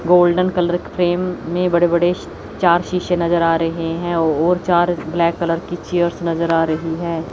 Golden colour frame में बड़े बड़े चार शीशे नजर आ रहे हैं और चार ब्लैक कलर की चेयर्स नजर आ रही हैं।